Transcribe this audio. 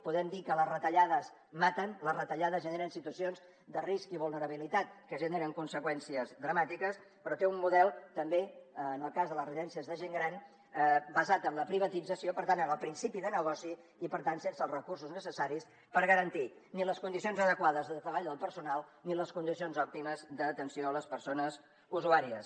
podem dir que les retallades maten les retallades generen situacions de risc i vulnerabilitat que generen conseqüències dramàtiques però té un model també en el cas de les residències de gent gran basat en la privatització per tant en el principi de negoci i per tant sense els recursos necessaris per garantir ni les condicions adequades de treball del personal ni les condicions òptimes d’atenció a les persones usuàries